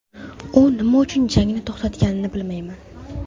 U nima uchun jangni to‘xtatganini bilmayman.